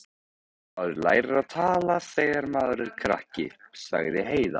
Maður lærir að tala þegar maður er krakki, sagði Heiða.